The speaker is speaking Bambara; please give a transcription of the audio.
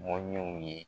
Mɔɲɛw ye